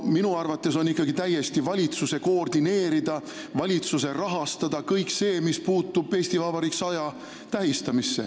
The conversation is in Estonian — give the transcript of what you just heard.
Minu arvates on ikkagi kõik see, mis puutub "Eesti Vabariik 100" tähistamisse, täiesti valitsuse koordineerida ja rahastada.